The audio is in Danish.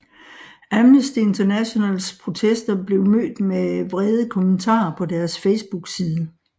Amnesty Internationales protester blev mødt med vrede kommentarer på deres Facebookside